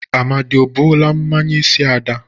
Amadị o buola mmanya n'isi Ada?